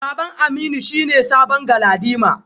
Baban Aminu shine sabon galadima.